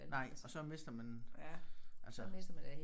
Nej og så mister man altså